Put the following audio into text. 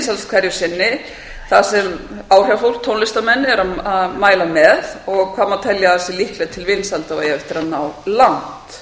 vinsælast hverju sinni þar sem áhrifafólk tónlistarmenn eru að mæla með og hvað má telja að sé líklegt til vinsælda og eigi eftir að ná langt